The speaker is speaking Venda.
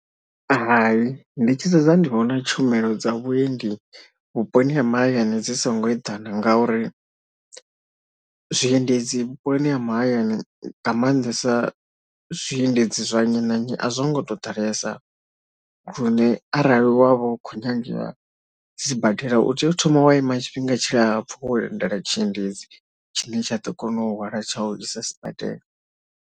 Hai ndi tshi sedza ndi vhona tshumelo dza vhuendi vhuponi ha mahayani dzi songo eḓana ngauri zwiendedzi vhuponi ha mahayani nga maanḓesa zwiendedzi zwa nnyi na nnyi a zwo ngo tou ḓalesa lune arali wa vha u khou nyagea sibadela u tea u thoma wa ima tshifhinga tshilapfhu wa lindela tshiendedzi tshine tshi a ḓo kona u hwala tsha u isa sibadela.